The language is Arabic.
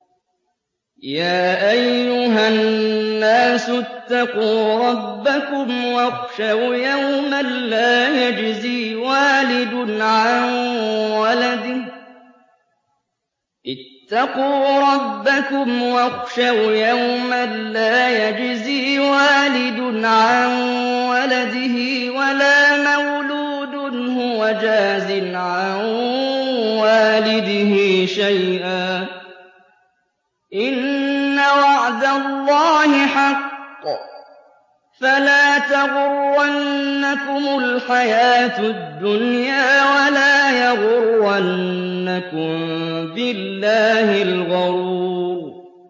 يَا أَيُّهَا النَّاسُ اتَّقُوا رَبَّكُمْ وَاخْشَوْا يَوْمًا لَّا يَجْزِي وَالِدٌ عَن وَلَدِهِ وَلَا مَوْلُودٌ هُوَ جَازٍ عَن وَالِدِهِ شَيْئًا ۚ إِنَّ وَعْدَ اللَّهِ حَقٌّ ۖ فَلَا تَغُرَّنَّكُمُ الْحَيَاةُ الدُّنْيَا وَلَا يَغُرَّنَّكُم بِاللَّهِ الْغَرُورُ